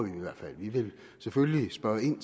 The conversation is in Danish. i hvert fald vi vil selvfølgelig spørge ind